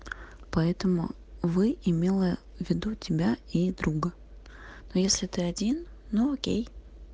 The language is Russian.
поэтому вы имела в виду тебя и друга но если ты один ну окей